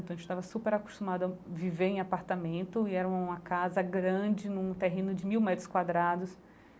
Então, a gente estava super acostumado a viver em apartamento e era uma casa grande num terreno de mil metros quadrados.